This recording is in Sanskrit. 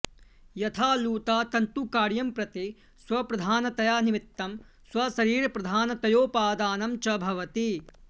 यथा लूता तन्तुकार्यं प्रति स्वप्रधानतया निमित्तं स्वशरीरप्रधानतयोपादानं च भवति